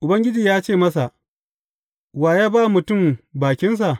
Ubangiji ya ce masa, Wa ya ba mutum bakinsa?